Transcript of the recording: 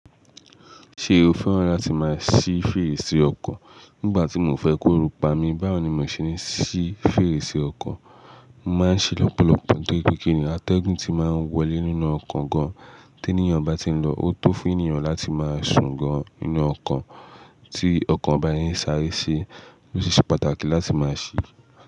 Ṣé o fẹ́ràn láti máa ṣí fèrèsé ọkọ̀? Nígbà tí mio fẹ́ k'orù pami, báwo ni mò ṣe ní ṣí fèrèsé ọkọ̀? Mo máa ń ṣi lọ́pọ̀lọpọ̀ tóri pe kinni, atẹ́gùn tí máa ń wọlé nínú ọkọ̀ gan-an tí ẹniyan bá ti ń lọ, ó tó fún ènìyàn láti máa sùn gan-an nínú ọkọ̀ tí ọkọ̀ ba se ń sáré ṣi. Ó ṣi se pàtàkì láti máa ṣí.